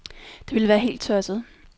Det ville være helt tosset.